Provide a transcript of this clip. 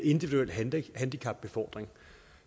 individuel handicapbefordring